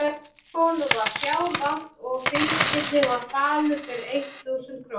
Honum var fjár vant og flygillinn var falur fyrir eitt þúsund krónur.